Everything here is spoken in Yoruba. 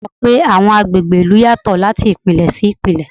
Ọ̀rẹ́ mi sọ pé àwọn agbègbè ìlú yàtọ̀ láti Ìpínlẹ̀ sí Ìpínlẹ̀.